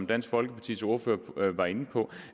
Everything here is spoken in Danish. dansk folkepartis ordfører var inde på